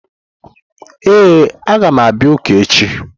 Ee, a ga m abia uka echi.